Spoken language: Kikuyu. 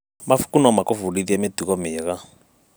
Mabuku no magũbundithie mĩtugo mĩega.